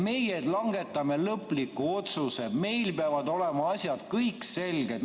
Meie langetame lõpliku otsuse, meil peavad olema kõik asjad selged.